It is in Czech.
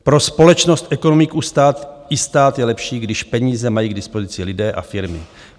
Pro společnost, ekonomiku i stát je lepší, když peníze mají k dispozici lidé a firmy.